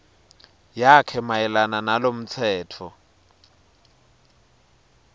yakhe mayelana nalomtsetfo